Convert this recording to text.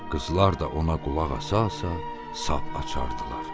Qızlar da ona qulaq asa-asa sap açardılar.